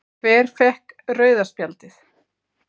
Hver fékk rauða spjaldið?